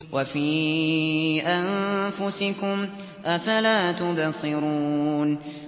وَفِي أَنفُسِكُمْ ۚ أَفَلَا تُبْصِرُونَ